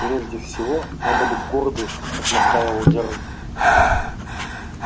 прежде всего надо быть гордой как настаивал джералд